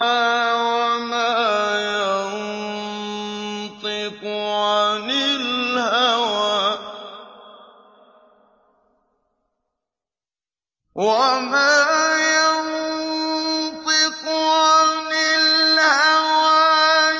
وَمَا يَنطِقُ عَنِ الْهَوَىٰ